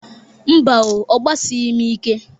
Mba o, agbasịghịm ike.